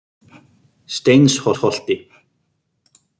Steinsholti